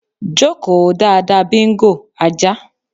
Jókòó dáadáa Bingo (ajá).